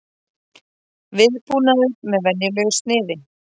Viðbúnaður með venjulegu sniði